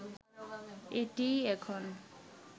এটিই এখন